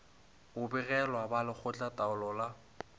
o begelago ba lekgotlataolo la